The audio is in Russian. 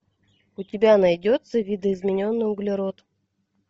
у тебя найдется видоизмененный углерод